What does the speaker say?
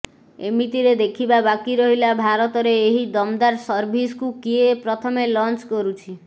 ଏମିତିରେ ଦେଖିବା ବାକି ରହିଲା ଭାରତରେ ଏହି ଦମଦାର ସର୍ଭିସକୁ କିଏ ପ୍ରଥମେ ଲଞ୍ଚ କରୁଛି